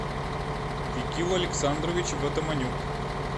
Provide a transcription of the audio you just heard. викил александрович ватаманюк